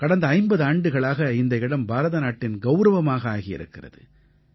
கடந்த 50 ஆண்டுகளாக இந்த இடம் பாரதநாட்டின் கௌரவமாக ஆகியிருக்கிறது